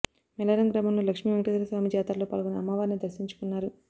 మైలారం గ్రామంలో లక్ష్మి వెంకటేశ్వర స్వామి జాతరలో పాల్గొని అమ్మవారిని దర్శించుకున్నారు